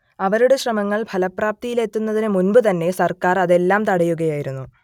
അവരുടെ ശ്രമങ്ങൾ ഫലപ്രാപ്തിയിലെത്തുന്നതിനു മുമ്പു തന്നെ സർക്കാർ അതെല്ലാം തടയുകയായിരുന്നു